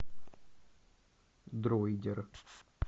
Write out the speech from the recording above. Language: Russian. дроидер